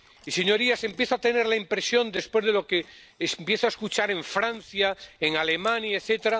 Y, señorías, empiezo a tener la impresión —después de lo que empiezo a escuchar en Francia, en Alemania, etc.—